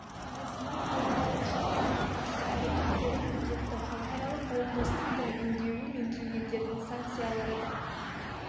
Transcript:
жиі сынап халықаралық шарттарға қарсы әрекеттерін үдетті халықаралық қауымдастықтың үндеуі мен кей елдердің санкциялары да